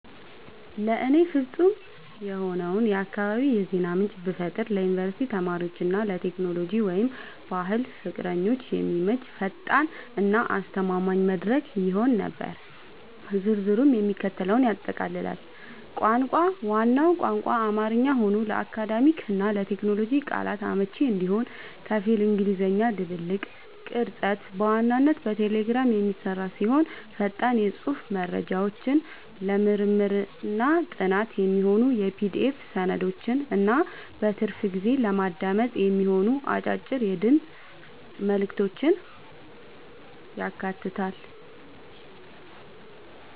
ለእኔ ፍጹም የሆነውን የአካባቢ የዜና ምንጭ ብፈጥር ለዩኒቨርሲቲ ተማሪዎች እና ለቴክኖሎጂ/ባህል ፍቅረኞች የሚመች፣ ፈጣን እና አስተማማኝ መድረክ ይሆን ነበር። ዝርዝሩም የሚከተለውን ያጠቃልላል - ቋንቋ፦ ዋናው ቋንቋ አማርኛ ሆኖ፣ ለአካዳሚክ እና ለቴክኖሎጂ ቃላቶች አመቺ እንዲሆን ከፊል እንግሊዝኛ ድብልቅ። ቅርጸት፦ በዋናነት በቴሌግራም የሚሰራ ሲሆን፣ ፈጣን የጽሑፍ መረጃዎችን፣ ለምርምርና ጥናት የሚሆኑ የPDF ሰነዶችን እና በትርፍ ጊዜ ለማዳመጥ የሚሆኑ አጫጭር የድምፅ መልዕክቶችን ያካትታል።